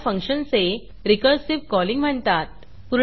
ह्याला फंक्शनचे recursive calling म्हणतात